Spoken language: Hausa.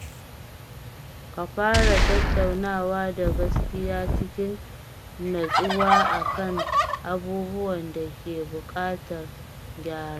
Ka fara tattaunawa da gaskiya cikin natsuwa a kan abubuwan da ke buƙatar gyara.